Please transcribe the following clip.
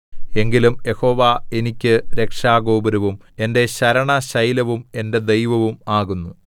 എങ്കിലും യഹോവ എനിക്ക് രക്ഷാഗോപുരവും എന്റെ ശരണശൈലവും എന്റെ ദൈവവും ആകുന്നു